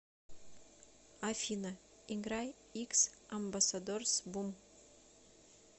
афина играй икс амбассадорс бум